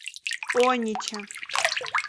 онича